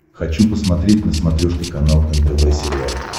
хочу посмотреть на смотрешке канал нтв сериал